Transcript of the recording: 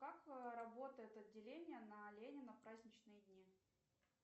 как работает отделение на ленина в праздничные дни